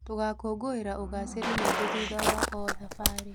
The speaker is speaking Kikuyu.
Tũgakũngũĩra ũgacĩĩru witũ thutha wa o thabarĩ.